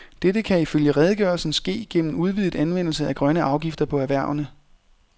Dette kan i følge redegørelsen ske gennem udvidet anvendelse af grønne afgifter på erhvervene.